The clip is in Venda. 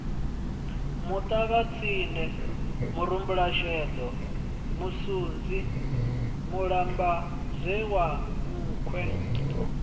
muṱavhatsindi murumbulasheḓo musunzi mulambadzea nkhwe